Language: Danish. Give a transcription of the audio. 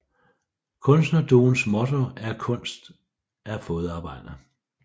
Kunstnerduoens motto er kunst er fodarbejde